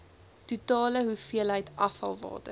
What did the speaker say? totale hoeveelheid afvalwater